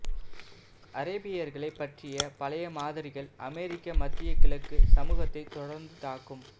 அரேபியர்களைப் பற்றிய பழைய மாதிரிகள் அமெரிக்க மத்திய கிழக்கு சமூகத்தை தொடர்ந்து தாக்கும்